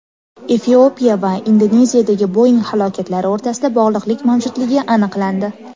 Efiopiya va Indoneziyadagi Boeing halokatlari o‘rtasida bog‘liqlik mavjudligi aniqlandi.